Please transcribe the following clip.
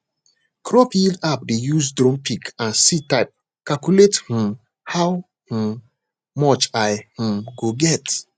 crop yield app dey use drone pic and seed type calculate um how um much i um go get